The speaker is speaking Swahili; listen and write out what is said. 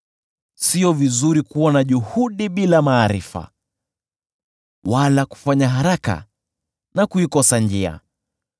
Sio vizuri kuwa na juhudi bila maarifa, wala kufanya haraka na kuikosa njia.